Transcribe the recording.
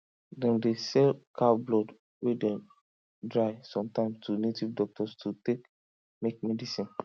dem dey sell cow blood wey dem dry sometimes to native doctors to take make medicine